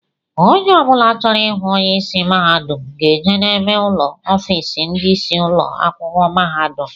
Ónyé ọbula chọrọ ịhụ onye ịsị mahadum ga-eje n'ebe ụlọ ọfiisi ndị isi ụlọ akwụkwọ mahadum.